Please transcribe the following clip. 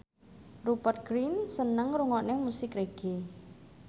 Rupert Grin seneng ngrungokne musik reggae